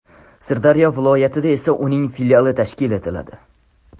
Sirdaryo viloyatida esa uning filiali tashkil etiladi.